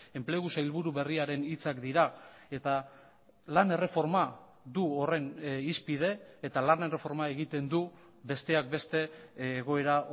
enplegu sailburu berriarenhitzak dira eta lan erreforma du horren hizpide eta lan erreforma egiten du besteak beste egoera